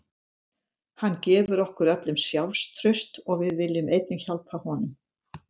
Hann gefur okkur öllum sjálfstraust og við viljum einnig hjálpa honum.